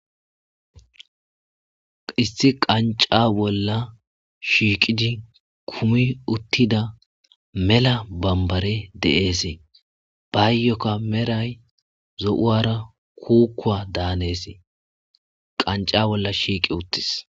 Issi qanca bolla shiiqidi kumi uttida mela bambare de7eesee baayyokka meray zo7uwara kuukuwa daanesei qanca bolla shiiqi uttis